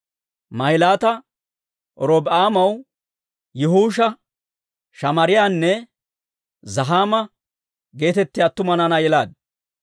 Mahilaata Robi'aamaw Yi'uusha, Shamaariyaanne Zahaama geetettiyaa attuma naanaa yelaaddu.